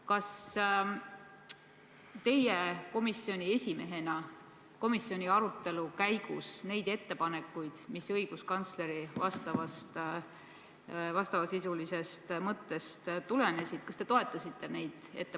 Kas teie komisjoni esimehena komisjoni arutelu käigus neid ettepanekuid, mis õiguskantsleri vastavasisulisest mõttest tulenesid, toetasite?